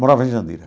Morava em Jandira.